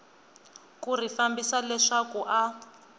ku ri fambisa leswaku a